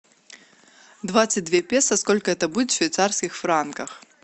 двадцать две песо сколько это будет в швейцарских франках